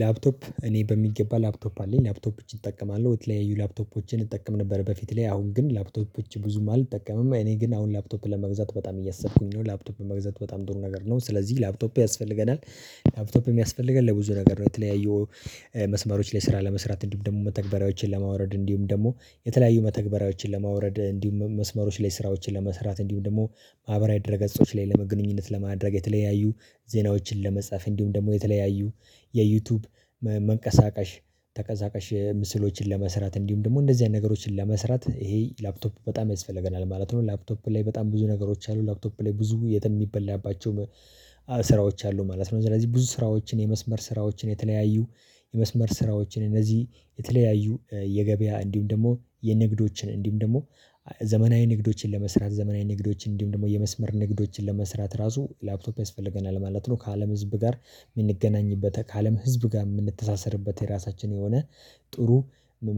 ላፕቶፕ እኔ በሚገባ ላፕቶፕ አለኝ። ላፕቶፖችን እጅግ እጠቀማለሁ። በተለያዩ ላፕቶፖችን እንጠቀም ነበር በፊት ላይ። አሁን ግን ላፕቶፖችን ብዙም አልጠቀምም። እኔ ግን አሁን ላፕቶፕ ለመግዛት በጣም እያሰብኩኝ ነው። ላፕቶፕ መግዛት በጣም ጥሩ ነገር ነው። ስለዚህ ላፕቶፕ ያስፈልገናል። ላፕቶፕ የሚያስፈልገን ለብዙ ነገር ነው። የተለያዩ መስመሮች ላይ ስራ ለመስራት፣ እንዲሁም ደግሞ መተግበሪያዎችን ለማውረድ፣ እንዲሁም ደግሞ የተለያዩ መተግበሪያዎችን ለማውረድ፣ እንዲሁም መስመሮች ላይ ስራዎችን ለመስራት፣ እንዲሁም ደግሞ ማህበራዊ ደረገ ገጾች ላይ ለመግንኙነት ለማድረግ፣ የተለያዩ ዜናዎችን ለመጻፍ፣ እንዲሁም ደግሞ የተለያዩ የዩቲዩብ መንቀሳቀሽ ተቀሳቀሽ ምስሎችን ለመስራት፣ እንዲሁም ደግሞ እንደዚህ አይነት ነገሮችን ለመስራት ይሄ ላፕቶፑ በጣም ያስፈልገናል ማለት ነው። ላፕቶፕ ላይ በጣም ብዙ ነገሮች አሉ። ላፕቶፕ ላይ ብዙ የሚበላባቸው ስራዎች አሉ ማለት ነው። ስለዚህ ብዙ ስራዎችን፣ የመስመር ስራዎችን፣ የተለያዩ የመስመር ስራዎችን፣ እነዚህ የተለያዩ የገበያ እንዲሁም ደግሞ የንግዶችን፣ እንዲሁም ደግሞ ዘመናዊ ንግዶችን ለመስራት፣ ዘመናዊ ንግዶችን፣ እንዲሁም ደግሞ የመስመር ንግዶችን ለመስራት ራሱ ላፕቶፕ ያስፈልገናል ማለት ነው። ከአለም ህዝብ ጋር የምንገናኝበት፣ ከአለም ህዝብ ጋር የምንተሳሰርበት የራሳችን የሆነ ጥሩ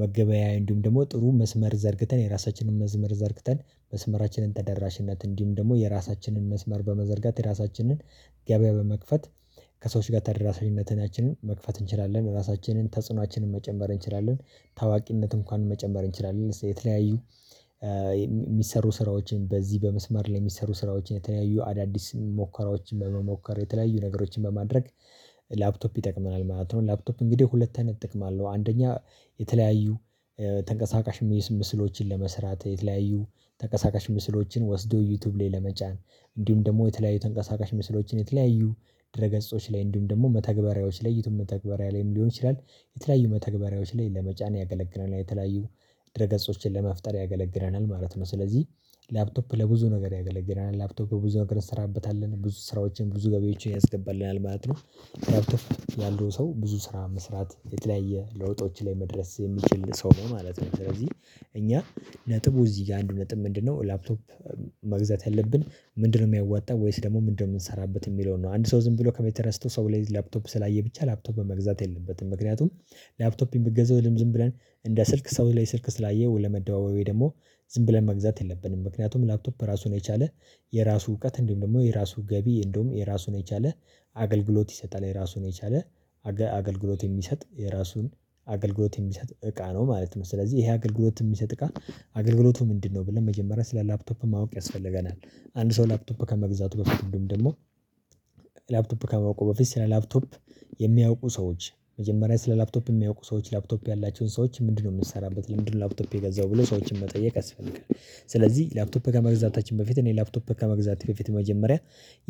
መገበያያ፣ እንዲሁም ደግሞ ጥሩ መስመር ዘርግተን የራሳችንን መስመር ዘርግተን መስመራችንን ተደራሽነት እንዲሁም ደግሞ የራሳችንን መስመር በመዘርጋት የራሳችንን ገበያ በመክፈት ከሰዎች ጋር ተደራሽነትን መክፈት እንችላለን። ራሳችንን ተጽዕኖአችንን መጨንበር እንችላለን። ታዋቂነት እንኳን መጨመር እንችላለን። የተለያዩ የሚሰሩ ስራዎችን በዚህ በመስመር ለሚሰሩ ስራዎች የተለያዩ አዳዲስ ሙከራዎችን በመሞከር የተለያዩ ነገሮችን በማድረግ ላፕቶፕ ይጠቅመናል ማለት ነው። ላፕቶፕ እንግዲህ ሁለት አይነት ጥቅም አለው። አንደኛ የተለያዩ ተንቀሳቃሽ ምስሎችን ለመስራት፣ የተለያዩ ተንቀሳቃሽ ምስሎችን ወስዶ ዩቲዩብ ላይ ለመጫን፣ እንዲሁም ደግሞ የተለያዩ ተንቀሳቃሽ ምስሎችን የተለያዩ ድረ ገጾች ላይ እንዲሁም ደግሞ መተግበሪያዎች የዪቲዩብ መተግበሪያ ላይም ሊሆን ይችላል የተለያዩ መተግበሪያዎች ላይ ለመጫን ያገለግለናል። የተለያዩ ድርገጾችን ለመፍጠር ያገለግረናል ማለት ነው። ስለዚህ ላፕቶፕ ለብዙ ነገር ያገለግላል። ላፕቶፕ ብዙ ነገር እሰራበታለሁ። ብዙ ስራዎችን፣ ብዙ ገቢዎችን ያስገባልናል ማለት ነው። ላፕቶፕ ያለው ሰው ብዙ ስራ መስራት የተለያየ ለውጦች ላይ መድረስ የምችል ሰው ነው ማለት ነው። ስለዚህ እኛ ነጥቡ እዚህ ጋር አንድ ነጥብ ምንድነው ላፕቶፕ መግዛት ያለብን ምንድነው የሚያዋጣው? ወይስ ደግሞ ምንድነው የምንሰራበት? የሚለውን ነው። አንድ ሰው ዝም ብሎ ከመሬት ተነስቶ ሰው ቤት ላፕቶፕ ስላየ ብቻ ላፕቶፕ መግዛት የለበትም። ምክንያቱም ላፕቶፕ የምትገዛው ዝም ብለን እንደ ስልክ ሰው ላይ ስልክ ስላየው ለመደባበዌ ደግሞ ዝም ብለን መግዛት የለብንም። ምክንያቱም ላፕቶፕ ራሱን የቻለ የራሱ እውቀት እንዲሁም ደግሞ የራሱ ገቢ እንደውም የራሱን የቻለ አገልግሎት ይሰጣል። የራሱን የቻለ አገልግሎት የሚሰጥ የራሱን አገልግሎት የሚሰጥ እቃ ነው ማለት ነው። ስለዚህ ይሄ አገልግሎት የሚሰጥ እቃ አገልግሎቱ ምንድነው? ብለን መጀመሪያ ስለ ላፕቶፕ ማወቅ ያስፈልገናል። አንድ ሰው ላፕቶፕ ከመግዛቱ በፊት እንዲሁም ደግሞ ላፕቶፕ ከማወቁ በፊት ስለ ላፕቶፕ የሚያውቁ ሰዎች መጀመሪያ ስለ ላፕቶፕ የሚያውቁ ሰዎች ላፕቶፕ ያላቸውን ሰዎች ምንድነው የምንሰራበት? ለምንድነው ላፕቶፕ የገዛው? ብለው ሰዎችን መጠየቅ አስፈልጋለሁ። ስለዚህ ላፕቶፕ ከመግዛታችን በፊት እኔ ላፕቶፕ ከመግዛት ከፊት መጀመሪያ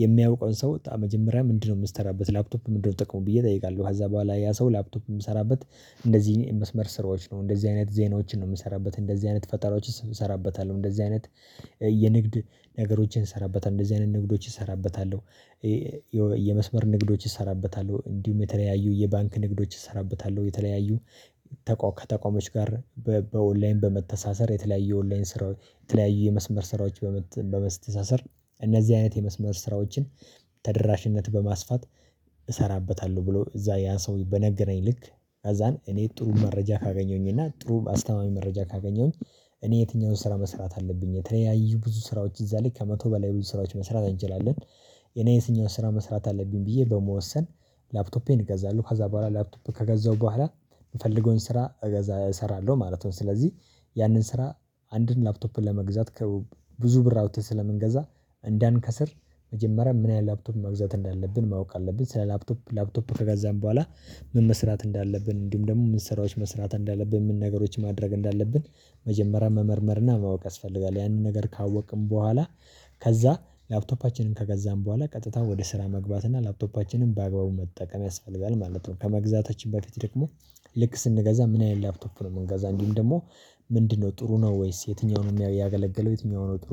የሚያውቀውን ሰው ሰው መጀመሪያ ምንድነው የምትሰራበት? ላፕቶፕ ምንድነው ጥቅሚ? ብዬ እጠይቃለሁ። ከዛ በኋላ ያ ሰው ላፕቶፕ የምሰራበት እንደዚህ የመስመር ስራዎች ነው፣ እንደዚህ አይነት ዜናዎችን ነው የምሰራበት፣ እንደዚህ አይነት ፈጣሪዎች እንሰራበታለሁ፣ እንደዚህ አይነት የንግድ ነገሮችን እሰራበታለሁ፣ እንደዚህ አይነት ንግዶች እሰራበታለሁ፣ የመስመር ንግዶች እሰራበታለሁ፣ እንዲሁም የተለያዩ የባንክ ንግዶች እሰራበታለሁ፣ የተለያዩ ከተቋሞች ጋር በኦንላይን በመተሳሰር የተለያየ ኦንላይን ስራ የተለያዩ የመስመር ስራዎች በመተሳሰር እነዚህ አይነት የመስመር ስራዎችን ተደራሽነት በማስፋት እሰራበታለሁ ብሎ እዛ ያ ሰው በነገረኝ ልክ አዛን እኔ ጥሩ መረጃ ካገኘሁኝ እና ጥሩ አስተማማኝ መረጃ ካገኘሁኝ እኔ የትኛውን ስራ መስራት አለብኝ የተለያዩ ብዙ ስራዎች እዛ ላይ ከመቶ በላይ ብዙ ስራዎች መስራት እንችላለን። የኔን የትኛውን ስራ መስራት አለብኝ? ብዬ በመወሰን ላፕቶፔን እገዛለሁ። ከዛ በኋላ ላፕቶፔ ከገዛሁ በኋላ የምፈልገውን ስራ እሰራለሁ ማለት ነው። ስለዚህ ያንን ስራ አንድን ላፕቶፕን ለመግዛት ከብዙ ብር አውጥተህ ስለምንገዛ እንዳንከስር መጀመሪያ ምን ያህል ላፕቶፕ መግዛት እንዳለብን ማወቅ አለብን። ስለ ላፕቶፕ ላፕቶፕ ከጋዛን በኋላ ምን መስራት እንዳለብን እንዲሁም ደግሞ ምን ስራዎች መስራት እንዳለብን ምን ነገሮች ማድረግ እንዳለብን መጀመሪያ መመርመርና ማወቅ ያስፈልጋል። ያንን ነገር ካወቅን በኋላ ከዛ ላፕቶፓችንን ከገዛን በኋላ ቀጥታ ወደ ስራ መግባት እና ላፕቶፓችንን በአግባቡ መጠቀም ያስፈልጋል ማለት ነው። ከመግዛታችን በፊት ደግሞ ልክ ስንገዛ ምን አይነት ላፕቶፍ ነው የምንገዛው እንጂም ደግሞ ምንድነው ጥሩ ነው? ወይስ የትኛውንም ያገለገለው? የትኛውንም ጥሩ?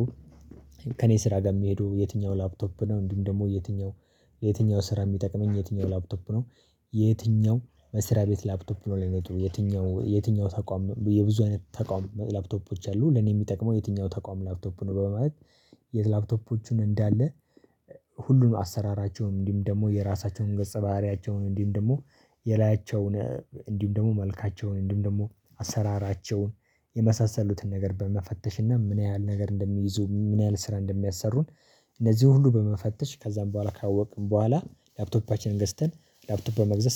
ከእኔ ስራ ጋር የሚሄደው የትኛው ላፕቶፕ ነው? እንዲሁም ደግሞ የትኛው የትኛው ስራ የሚጠቅመኝ የትኛው ላፕቶፕ ነው? የትኛው መስሪያ ቤት ላፕቶፕ ነው ለእኔ ጥሩ? የትኛው ተቋም የብዙ አይነት ተቋም ላፕቶፖች አሉ ለኔ የሚጠቅመው የትኛው ተቋም ላፕቶፕ ነው? በማለት የት ላፕቶፖቹን እንዳለ ሁሉንም አሰራራቸውም፣ እንዲም ደግሞ የራሳቸውን ገጸ ባህሪያቸውን፣ እንዲም ደግሞ የላያቸውን፣ እንዲሁም ደግሞ መልካቸውን፣ እንዲሁም ደግሞ አሰራራቸውን የመሳሰሉትን ነገር በመፈተሽ እና ምን ያህል ነገር እንደሚይዙ ምን ያህል ስራ እንደሚያሰሩን እነዚህ ሁሉ በመፈተሽ ከዛም በኋላ ካወቅን በኋላ ላፕቶፓችንን ገዝተን ላፕቶፕ በመግዛት